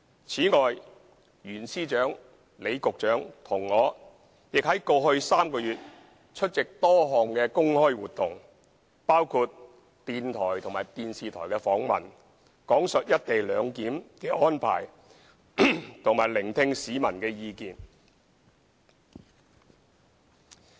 此外，袁司長、李局長和我亦在過去3個月內出席多項公開活動，包括電台和電視台訪問，講述"一地兩檢"的安排和聆聽市民的意見。